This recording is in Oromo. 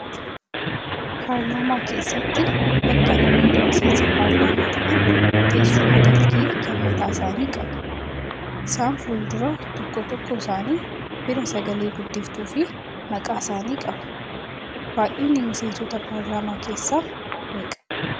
Paarlaamaa keessatti bakka namoonni miseensa paarlaamaa ta'an teessuma dalgee kan mataa isaanii qabu. Isaan fuuldura tokko tokkoo isaanii bira sagalee guddiftuu fi maqaa isaanii qabu. Baay'inni miseensota paarlaamaa keessaa meeqaa?